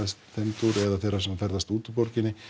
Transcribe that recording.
þeim dúr eða þeirra sem ferðast út úr borginni